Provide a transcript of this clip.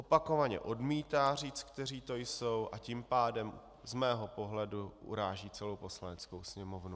Opakovaně odmítá říct, kteří to jsou, a tím pádem z mého pohledu uráží celou Poslaneckou sněmovnu.